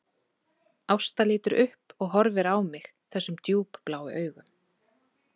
Ásta lítur upp og horfir á mig þessum djúpbláu augum